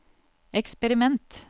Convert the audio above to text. eksperiment